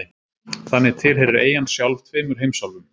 Þannig tilheyrir eyjan sjálf tveimur heimsálfum.